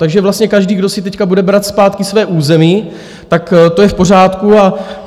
Takže vlastně každý, kdo si teď bude brát zpátky své území, tak to je v pořádku.